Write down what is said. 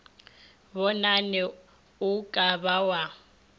bonane o ka ba wa